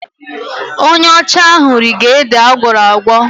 Onye ọcha ahụ rige ede agwọrọ agwọ..